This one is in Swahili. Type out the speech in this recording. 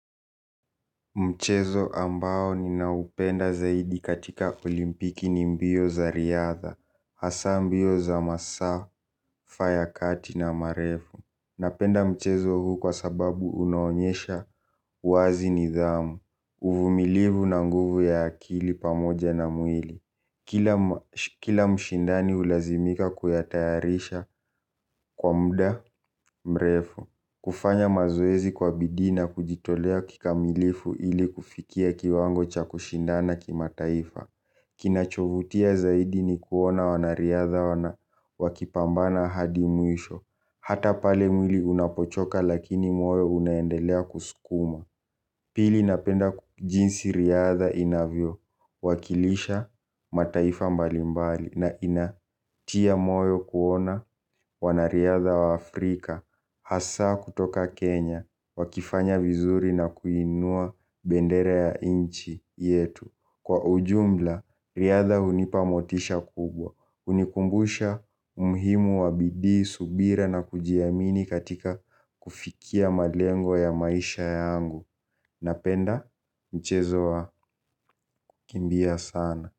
Mchezo ambao ninaupenda zaidi katika olimpiki ni mbio za riadha hasaa mbio za masafa ya kati na marefu. Napenda mchezo huu kwa sababu unaonyesha wazi nidhamu, uvumilivu na nguvu ya akili pamoja na mwili. Kila mshindani hulazimika kuyatayarisha kwa muda mrefu. Kufanya mazoezi kwa bidii na kujitolea kikamilifu ili kufikia kiwango cha kushindana kimataifa. Kinachovutia zaidi ni kuona wanariadha wana wakipambana hadimwisho. Hata pale mwili unapochoka lakini moyo unaendelea kusukuma. Pili napenda jinsi riadha inavyo, wakilisha mataifa mbalimbali na inatia moyo kuona wanariadha wa Afrika, hasa kutoka Kenya, wakifanya vizuri na kuinua bendera ya nchi yetu. Kwa ujumla, riadha hunipa motisha kubwa. Hunikumbusha umhimu wa bidii, subira na kujiamini katika kufikia malengo ya maisha yangu. Napenda mchezo wa kukimbia sana.